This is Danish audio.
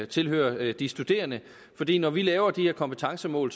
tilhører de studerende fordi når vi laver de her kompetencemål